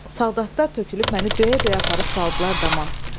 Soldatlar tökülüb məni döyə-döyə aparıb saldılar dama.